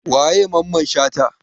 Waye Mamman Shata?